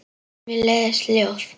Mér leiðast ljóð.